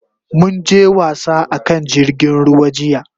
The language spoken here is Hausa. Mun je wasa a kan jirgin ruwa jiya.